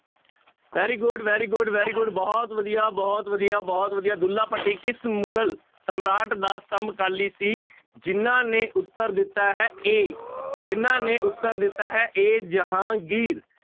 Very good, very good, very good ਬਹੁਤ ਵਧੀਆ, ਬਹੁਤ ਵਧੀਆ, ਬਹੁਤ ਵਧੀਆ ਦੁੱਲਾ ਭੱਟੀ ਕਿਸ ਮੁਗ਼ਲ ਸਮਰਾਟ ਦਾ ਸਮਕਾਲੀ ਸੀ ਜਿਹਨਾਂ ਨੇ ਉੱਤਰ ਦਿੱਤਾ ਹੈ a ਜਿਹਨਾਂ ਨੇ ਉੱਤਰ ਦਿੱਤਾ ਹੈ a ਜਹਾਂਗੀਰ